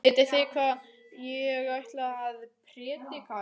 Vitið þið hvað ég ætla að prédika í dag?